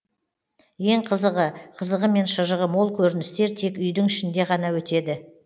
ең қызығы қызығы мен шыжығы мол көріністер тек үйдің ішінде ғана өтеді